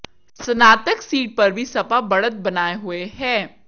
स्नातक सीट पर भी सपा बढ़त बनाए हुए है